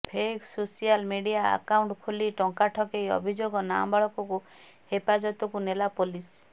fake social media account ଖୋଲି ଟଙ୍କା ଠକେଇ ଅଭିଯୋଗ ନାବାଳକକୁ ହେପାଜତକୁ ନେଲା ପୋଲିସ